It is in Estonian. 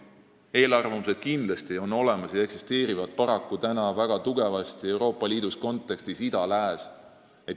Eelarvamused on kindlasti olemas ja eksisteerivad paraku Euroopa Liidu kontekstis väga tugevasti suunal ida-lääs.